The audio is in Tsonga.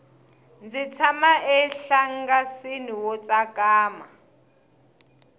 ndzi tshama enhlangasini wo tsakama